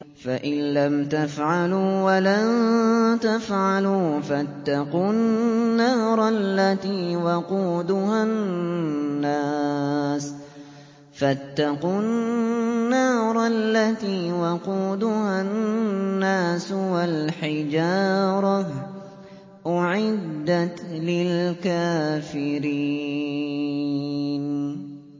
فَإِن لَّمْ تَفْعَلُوا وَلَن تَفْعَلُوا فَاتَّقُوا النَّارَ الَّتِي وَقُودُهَا النَّاسُ وَالْحِجَارَةُ ۖ أُعِدَّتْ لِلْكَافِرِينَ